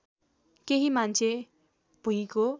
केही मान्छे भुइँको